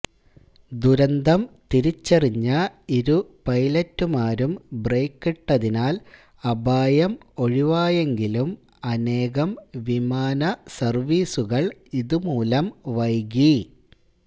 ദുരന്തം തിരിച്ചറിഞ്ഞ ഇരു പൈലറ്റുമാരും ബ്രേക്കിട്ടതിനാൽ അപായം ഒഴിവായെങ്കിലും അനേകം വിമാന സർവീസുകൾ ഇതുമൂലം വൈകി